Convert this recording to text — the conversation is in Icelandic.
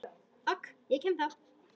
OK, ég kem þá!